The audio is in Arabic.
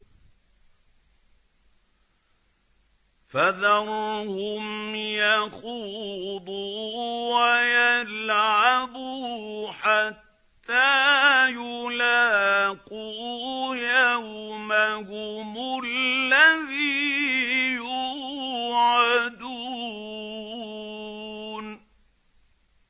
فَذَرْهُمْ يَخُوضُوا وَيَلْعَبُوا حَتَّىٰ يُلَاقُوا يَوْمَهُمُ الَّذِي يُوعَدُونَ